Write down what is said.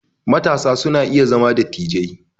Matasa su na iya zama dattijai